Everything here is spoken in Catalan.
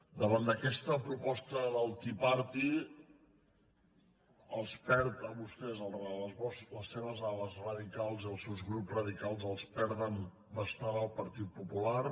davant d’aquesta proposta del tea party els perd a vostès les seves arrels radicals i els seus grups radicals els perden bastant al partit popular